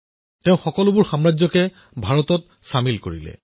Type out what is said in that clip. তেওঁ সকলো সকলো ৰাজশাসন বিলুপ্ত কৰিছিল